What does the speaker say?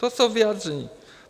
To jsou vyjádření.